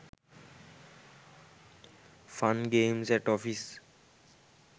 fun games at office